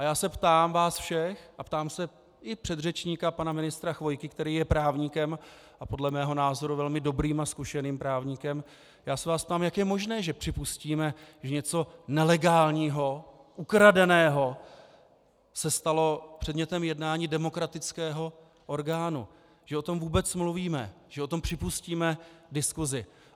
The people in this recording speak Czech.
A já se ptám vás všech a ptám se i předřečníka pana ministra Chvojky, který je právníkem, a podle mého názoru velmi dobrým a zkušeným právníkem, já se vás ptám, jak je možné, že připustíme, že něco nelegálního, ukradeného se stalo předmětem jednání demokratického orgánu, že o tom vůbec mluvíme, že o tom připustíme diskuzi.